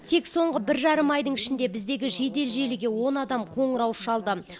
тек соңғы бір жарым айдың ішінде біздегі жедел желіге он адам қоңырау шалды